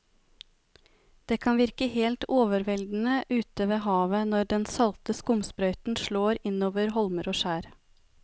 Det kan virke helt overveldende ute ved havet når den salte skumsprøyten slår innover holmer og skjær.